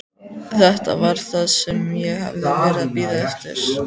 Þetta var það sem ég hafði verið að bíða eftir.